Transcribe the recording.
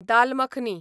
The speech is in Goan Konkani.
दाल मखनी